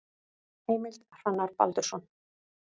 Heimild: Hrannar Baldursson.